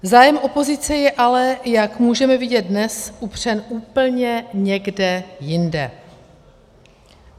Zájem opozice je ale, jak můžeme vidět dnes, upřen úplně někde jinde.